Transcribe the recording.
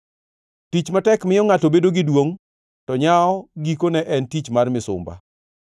Tich matek miyo ngʼato bedo gi duongʼ, to nyawo gikone en tich mar misumba.